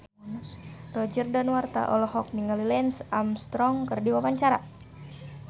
Roger Danuarta olohok ningali Lance Armstrong keur diwawancara